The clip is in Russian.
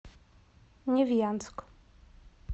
невьянск